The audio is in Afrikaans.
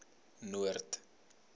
noord